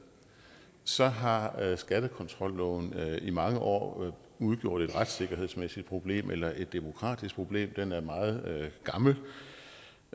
så har skattekontrolloven i mange år udgjort et retssikkerhedsmæssigt problem eller et demokratisk problem den er meget gammel